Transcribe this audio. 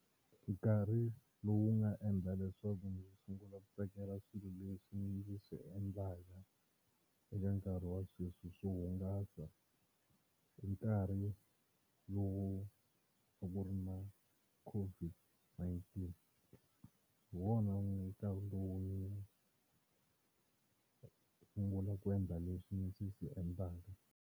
Nkarhi lowu nga endla leswaku ndzi sungula ku tsakela swilo leswi ndzi swi endlaka eka nkarhi wa sweswi swo hungasa hi nkarhi lowu loko ku ri na COVID-19 hi wona nkarhi wun'we sungula ku endla leswi ndzi swi endlaka.